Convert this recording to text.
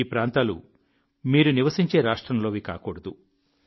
ఈ ప్రాంతాలు మీరు నివసించే రాష్ట్రంలోవి కాకూడదు